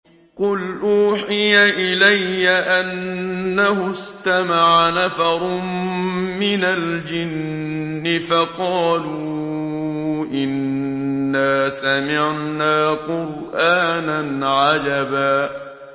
قُلْ أُوحِيَ إِلَيَّ أَنَّهُ اسْتَمَعَ نَفَرٌ مِّنَ الْجِنِّ فَقَالُوا إِنَّا سَمِعْنَا قُرْآنًا عَجَبًا